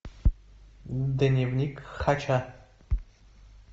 дневник хача